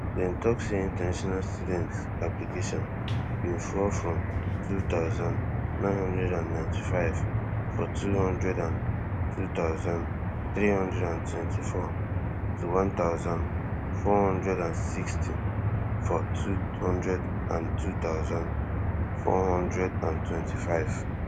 dem tok say international student application bin fall from two thousand, nine hundred and ninety-five for two hundred and two thousand, three hundred and twenty-four to one thousand, four hundred and sixty for two hundred and two thousand, four hundred and twenty-five